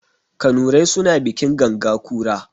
Kanurai suna bikin ganga kura.